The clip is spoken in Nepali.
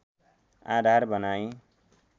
आधार बनाइ